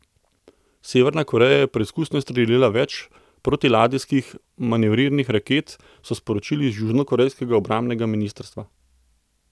Severna Koreja je preizkusno izstrelila več protiladijskih manevrirnih raket, so sporočili z južnokorejskega obrambnega ministrstva.